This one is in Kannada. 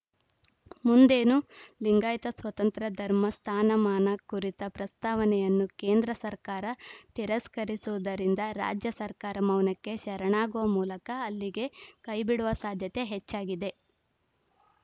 ಮುಂದೇನು ಲಿಂಗಾಯತ ಸ್ವತಂತ್ರ ಧರ್ಮ ಸ್ಥಾನಮಾನ ಕುರಿತ ಪ್ರಸ್ತಾವನೆಯನ್ನು ಕೇಂದ್ರ ಸರ್ಕಾರ ತಿರಸ್ಕರಿಸುವುದರಿಂದ ರಾಜ್ಯ ಸರ್ಕಾರ ಮೌನಕ್ಕೆ ಶರಣಾಗುವ ಮೂಲಕ ಅಲ್ಲಿಗೇ ಕೈಬಿಡುವ ಸಾಧ್ಯತೆ ಹೆಚ್ಚಾಗಿದೆ